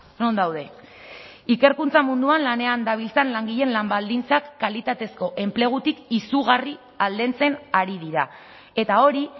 non daude ikerkuntza munduan lanean dabiltzan langileen lan baldintzak kalitatezko enplegutik izugarri aldentzen ari dira eta hori